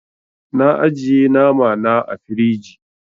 Na ajiye nama na ã firiji.